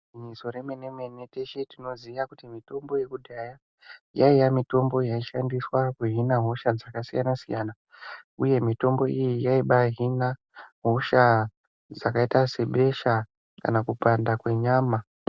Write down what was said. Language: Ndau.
Mubizo remene mene teshe tinoziya kuti mitombo yekudhaya yaiya mitombo yaishandiswa kuhina hosha dzakasiyana siyana. Uye mitombo iyi yaiba Hina hosha dzakaita sebesha kana kupanda kwenyama.